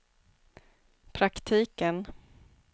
praktiken